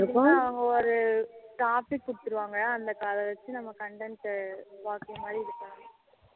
எப்பவுமே அவங்க ஒரு topic குடுத்துருவாங்க அந்த அத வச்சி நம்ம content பாக்குறது மாதிரி இருக்கும்